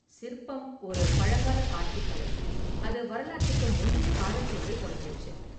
சிற்பம் ​ஒரு பழங்கால காட்சிக் கலை, அது வரலாற்றுக்கு முந்தைய காலத்திலேயே தொடங்கிருச்சு.